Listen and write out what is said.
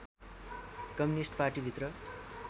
communist पार्टीभित्र